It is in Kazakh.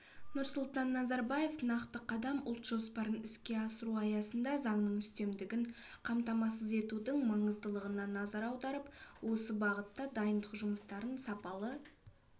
нұрсұлтан назарбаев нақты қадам ұлт жоспарын іске асыру аясында заңның үстемдігін қамтамасыз етудің маңыздылығына назар аударып осы бағытта дайындық жұмыстарын сапалы